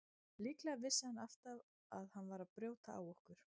Líklega vissi hann alltaf að hann var að brjóta á okkur.